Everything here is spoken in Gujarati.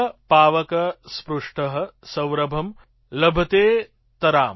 પાવક સ્પૃષ્ટ સૌરભં લભતેતરામ